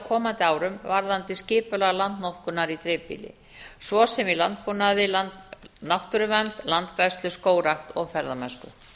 komandi árum varðandi skipulag landnotkunar í dreifbýli svo sem í landbúnaði náttúruvernd landgræðslu skógrækt og ferðamennsku